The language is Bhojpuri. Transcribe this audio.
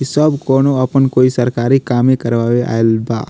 इ सब कउनो अपन कोई सरकारी कामें करवावे आएल बा |